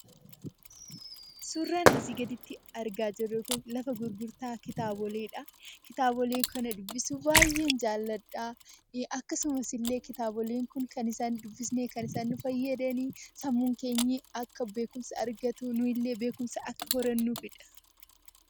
Suuraan asii gaditti argaa jirru kun lafa gurgurtaa kitaaboleedha. Kitaabolee kana dubbisuu baay'een jaalladha. Akkasumas illee kitaabilee kan isaan dubbifnee fayyadanii sammuun keenya akka beekumsa argatu nuyillee akka beekumsa argannuufidha.